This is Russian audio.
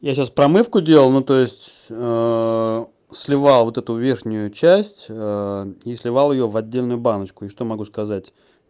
я сейчас промывку делал ну то есть сливал вот эту верхнюю часть и сливал её в отдельную баночку и что могу сказать